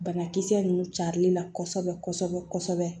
Banakisɛ ninnu carilen na kosɛbɛ kosɛbɛ